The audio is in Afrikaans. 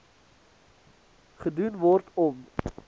gedoen word om